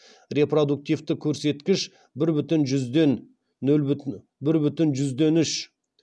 репродуктивті көрсеткіш бір бүтін жүзден үш